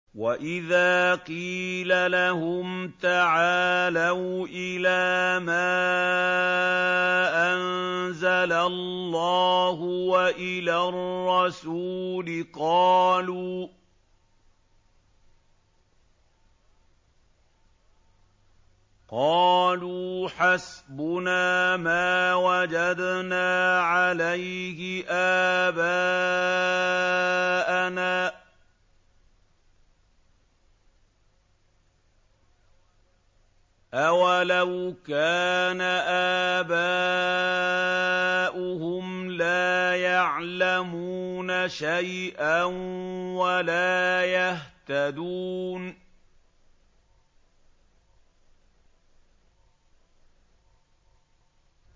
وَإِذَا قِيلَ لَهُمْ تَعَالَوْا إِلَىٰ مَا أَنزَلَ اللَّهُ وَإِلَى الرَّسُولِ قَالُوا حَسْبُنَا مَا وَجَدْنَا عَلَيْهِ آبَاءَنَا ۚ أَوَلَوْ كَانَ آبَاؤُهُمْ لَا يَعْلَمُونَ شَيْئًا وَلَا يَهْتَدُونَ